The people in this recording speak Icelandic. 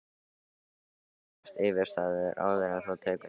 Verður eflaust yfirstaðið, áður en þú tekur eftir?!